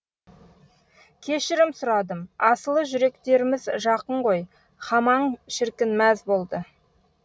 кешірім сұрадым асылы жүректеріміз жақын ғой хамаң шіркін мәз болды